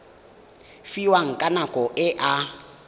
fiwang ka nako e a